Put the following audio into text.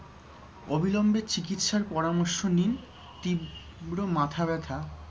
অবিলম্বে চিকিৎসার পরামর্শ নিন তীব্র মাথাব্যথা